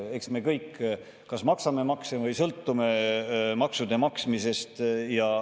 Eks me kõik kas maksame makse või sõltume maksude maksmisest.